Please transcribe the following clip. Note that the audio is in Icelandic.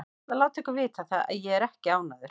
Ég ætla að láta ykkur vita það að ÉG er ekki ánægður.